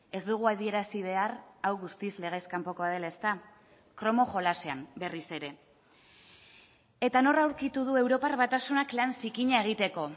ez dugu adierazi behar hau guztiz legez kanpokoa dela ezta kromo jolasean berriz ere eta nor aurkitu du europar batasunak lan zikina egiteko